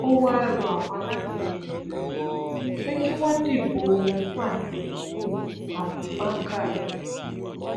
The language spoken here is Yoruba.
ó wá rọ àwọn alátìlẹyìn rẹ pé kí wọn dìbò wọn fún àtikukú abubakar